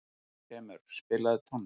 Þrymur, spilaðu tónlist.